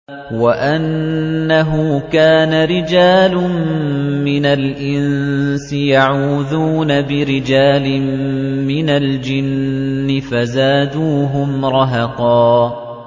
وَأَنَّهُ كَانَ رِجَالٌ مِّنَ الْإِنسِ يَعُوذُونَ بِرِجَالٍ مِّنَ الْجِنِّ فَزَادُوهُمْ رَهَقًا